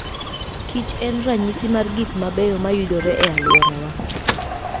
kich en ranyisi mar gik mabeyo mayudore e alworawa.